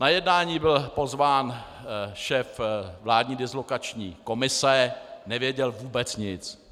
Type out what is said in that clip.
Na jednání byl pozván šéf vládní dislokační komise, nevěděl vůbec nic.